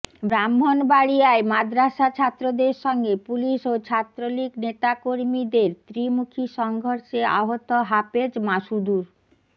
ব্রাহ্মণবাড়িয়ায় মাদ্রাসা ছাত্রদের সঙ্গে পুলিশ ও ছাত্রলীগ নেতাকর্মীদের ত্রিমুখী সংঘর্ষে আহত হাফেজ মাসুদুর